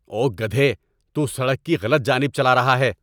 او گدھے۔ تو سڑک کی غلط جانب چلا رہا ہے۔